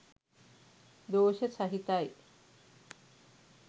දෝෂ සහිතයි.